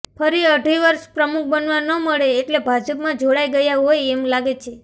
ફરી અઢી વર્ષ પ્રમુખ બનવા ન મળે એટલે ભાજપમાં જોડાઇ ગયા હોય એમ લાગે છે